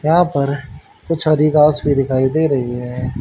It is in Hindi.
यहां पर कुछ अधिकांश भी दिखाई दे रही है।